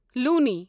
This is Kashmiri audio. لوٗنی